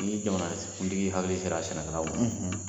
Ni jamana kuntigi hakili sera sɛnɛkɛlaw ma.